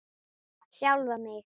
Sjálfan mig?